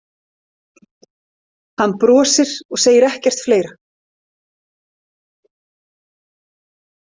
Hann brosir og segir ekkert fleira.